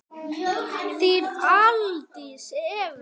Þín Aldís Eva.